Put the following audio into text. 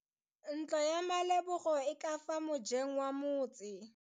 Ntlo ya Malebogo e ka fa mojeng wa motse.